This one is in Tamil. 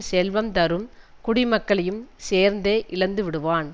செல்வம் தரும் குடிமக்களையும் சேர்ந்தே இழந்துவிடுவான்